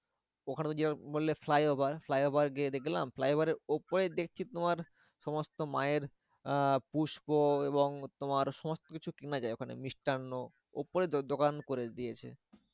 ওখানে তো যে আবার বললে flyover flyover গিয়ে দেখলাম flyover এর উপরে দেখছি তোমার সমস্ত মায়ের আহ পুস্প এবং তোমার সমস্তকিছু কেনা যায় ওখানে মিষ্টান্ন। ওপরে দোকান করে দিয়েছে।